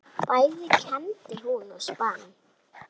Bæði kembdi hún og spann.